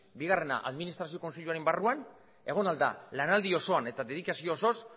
bigarrena administrazio kontseiluaren barruan egon ahal da lanaldi osoan eta dedikazio osoz